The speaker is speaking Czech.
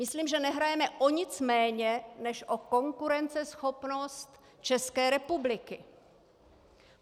Myslím, že nehrajeme o nic méně než o konkurenceschopnost České republiky.